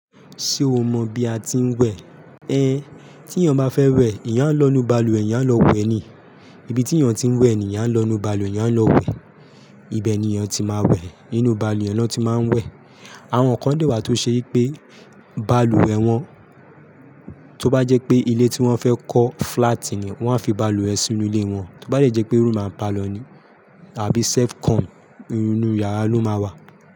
Ṣé o mọ bí a ti ń wẹ̀? Éh, tí èèyàn bá fẹ́ wẹ̀, eyẹn á lọ inu balùwẹ̀, eyẹn á lọ wẹ̀ ni. Ibi tí èèyàn ti ń wẹ̀ ni, eyẹn á lọ nu balùwẹ̀, eyẹn á lọ wẹ̀. Ibẹ̀ ni èèyàn ti máa wẹ̀. Inú balùwẹ̀ ni wọ́n ti máa ń wẹ̀. Àwọn kan dẹ́wà tó ṣe pé balùwẹ̀ wọn, tó bá jẹ́ pé ilé tí wọ́n fẹ́ kọ́ flat ni, wọ́n á fi balùwẹ̀ sínú ilé wọn. Tó bá jẹ́ pé room and parlour ni àbí self-contained, inú yàrá ló máa wà.